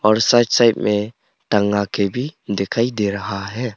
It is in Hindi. और साइड साइड में भी टंगा के भी दिखई दे रहा है।